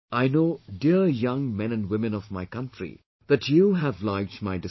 I know, dear young men and women of my country, that you have liked my decision